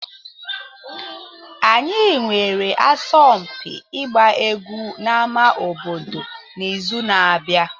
Anyị nwere asọmpi ịgba egwu n'ámá obodo n'izu na-abịa.